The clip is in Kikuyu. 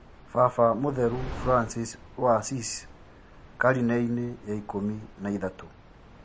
Baba Mũtheru Francis wa Asisi karine-inĩ ya ikũmi na ithatũ